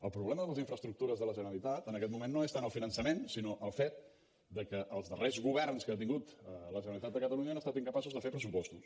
el problema de les infraestructures de la generalitat en aquest moment no és tant el finançament sinó el fet que els darrers governs que ha tingut la generalitat de catalunya han estat incapaços de fer pressupostos